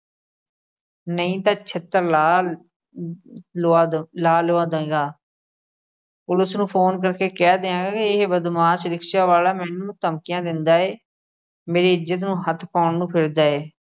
ਨਹੀਂ ਤਾਂ ਛਿੱਤਰ ਲਾ ਲੁਆ ਦ ਲਾ ਲੁਆ ਦੇਏਂਗਾ ਪੁਲਿਸ ਨੂੰ ਫੋਨ ਕਰਕੇ ਕਹਿ ਦਿਆਂਗਾ ਕਿ ਇਹ ਬਦਮਾਸ਼ rickshaw ਵਾਲਾ ਮੈਨੂੰ ਧਮਕੀਆਂ ਦਿੰਦਾ ਏ, ਮੇਰੀ ਇੱਜ਼ਤ ਨੂੰ ਹੱਥ ਪਾਉਣ ਨੂੰ ਫਿਰਦਾ ਏ।